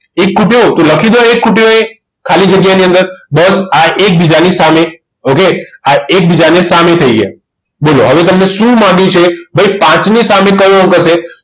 એક ખૂટે તો લખી દો એક ખૂટે એ ખાલી જગ્યાની અંદર બસ આ એકબીજાની સામે okay આ એકબીજાની સામે થઈ ગયા બોલો હવે તમને શું માગ્યું છે ભાઈ પાંચની સામે કયો અંક હશે